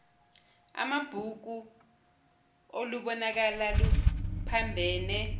amabhuku olubonakala luphambene